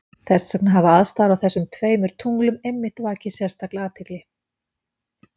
Þess vegna hafa aðstæður á þessum tveimur tunglum einmitt vakið sérstaka athygli.